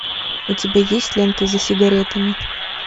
у тебя есть лента за сигаретами